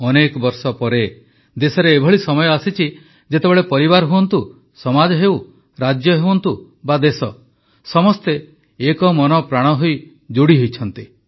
ଅନେକ ବର୍ଷ ପରେ ଦେଶରେ ଏଭଳି ସମୟ ଆସିଛି ଯେତେବେଳେ ପରିବାର ହୁଅନ୍ତୁ ସମାଜ ହେଉ ରାଜ୍ୟ ହୁଅନ୍ତୁ ବା ଦେଶ ସମସ୍ତେ ଏକ ମନ ପ୍ରାଣ ହୋଇ ଯୋଡ଼ି ହୋଇଛନ୍ତି